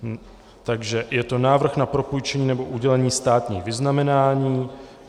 Takže je to návrh na propůjčení nebo udělení státních vyznamenání.